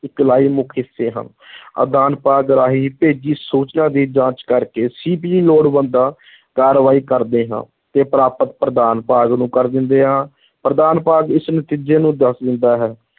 ਇਕਾਈ-ਮੁੱਖ ਹਿੱਸੇ ਹਨ ਆਦਾਨ ਭਾਗ ਰਾਹੀਂ ਭੇਜੀ ਸੂਚਨਾ ਦੀ ਜਾਂਚ ਕਰ ਕੇ CPU ਲੋੜਵੰਦਾਂ ਕਾਰਵਾਈ ਕਰਦਾ ਹਾਂ ਤੇ ਪ੍ਰਾਪਤ ਪ੍ਰਦਾਨ ਭਾਗ ਨੂੰ ਕਰ ਦਿੰਦਾ ਹਾਂ ਪ੍ਰਦਾਨ ਭਾਗ ਇਸ ਨਤੀਜੇ ਨੂੰ ਦੱਸ ਦਿੰਦਾ ਹੈ,